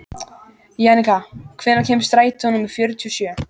Jannika, hvenær kemur strætó númer fjörutíu og sjö?